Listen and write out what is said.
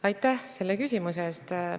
Aitäh selle küsimuse eest!